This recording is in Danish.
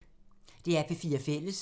DR P4 Fælles